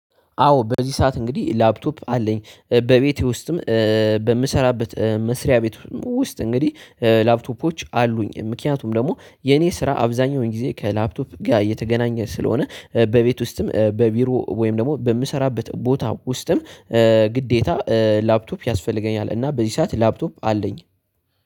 አዎ በዚህ ሰዓት እንግዲህ ላፕቶፕ አለኝ በቤቴ ውስጥም። በምሰራበት መስሪያ ቤት ውስጥ እንግዲህ ላፕቶፖች አሉኝ ምክንያቱም ደግሞ የኔ ስራ አብዛኛውን ጊዜ ከላፕቶፕ ጋር እየተገናኘ ስለሆነ በቤት ውስጥም በቢሮ ወይም ደግሞ በምሰራበት ቦታ ውስጥም። ግዴታ ላፕቶፕ ያስፈልገኛል እና በዚህ ሰዓት ላፕቶፕ አለኝ